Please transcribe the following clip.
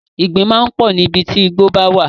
Ìgbín máa ń pọ̀ níbi tí ìgbo bá wà.